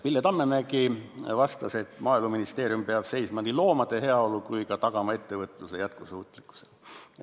Pille Tammemägi vastas, et Maaeluministeerium peab seisma nii loomade heaolu eest kui ka tagama ettevõtluse jätkusuutlikkuse.